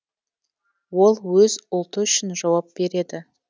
ол өз ұлты үшін жауап береді